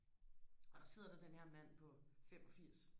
og der sidder der den her mand på femogfirs